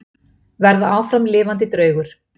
Verða áfram lifandi draugur.